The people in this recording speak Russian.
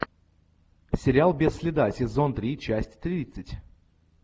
сериал без следа сезон три часть тридцать